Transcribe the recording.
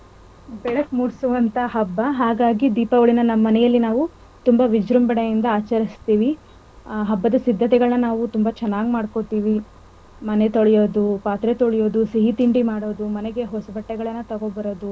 ಹಾಗಾಗಿ ದೀಪಾವಳಿ. ನಮ್ಮನೇಲಿ ನಾವು ತುಂಬಾ ವಿಜ್ರಂಭಣೆಯಿಂದ ಆಚರಿಸ್ತಿವಿ. ಹ ಹಬ್ಬದ ಸಿದ್ದತೆಗಳನ್ನ ನಾವು ತುಂಬಾ ಚೆನ್ನಾಗ್ ಮಾಡ್ಕೋತಿವಿ ಮನೆತೊಳೆಯೋದು, ಪಾತ್ರೆತೊಳೆಯೋದು, ಸಿಹಿತಿಂಡಿ ಮಾಡೋದು ಮನೆಗೆ.